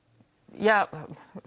ja